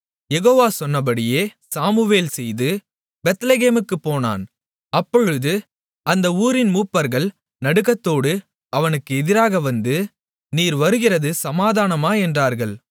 யெகோவா சொன்னபடியே சாமுவேல் செய்து பெத்லெகேமுக்குப் போனான் அப்பொழுது அந்த ஊரின் மூப்பர்கள் நடுக்கத்தோடு அவனுக்கு எதிராக வந்து நீர் வருகிறது சமாதானமா என்றார்கள்